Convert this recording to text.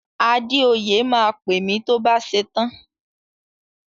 Adéoyè máa pè mi tó bá ṣetán.